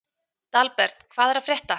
Dalbert, hvað er að frétta?